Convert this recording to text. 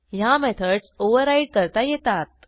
ह्या methods override करता येतात